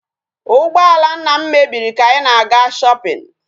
Ụgbọala nna m mebiri ka anyị na-aga shopping.